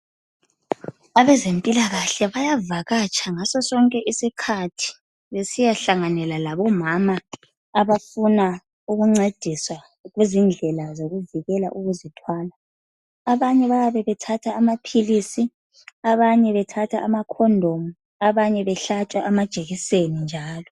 Abezempilakahle bayavakatsha ngaso sonke isikhathi besiyahlanganela labomama abafuna ukuncediswa ngezindlela zokuvikela ukuzithwala. Abanye bayabe bethatha amaphilisi, abanye bethatha amakhondomu, abanye behlatshwa amajekiseni njalo.